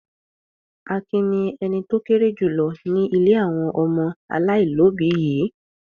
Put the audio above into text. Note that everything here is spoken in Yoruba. Akin ni ẹni tó kéré jù lọ ní ilé àwọn ọmọ aláìlóòbí yìí.